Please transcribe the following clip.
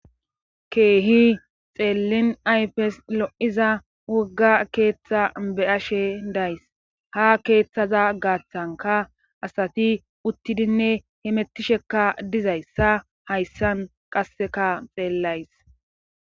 Keehi xeellin aypes lo7iza wogga keeththa beyashe days ha keeththaza gaaththanka asati uttidinne hemettishekka dizayssa hayssan qasseka xeellays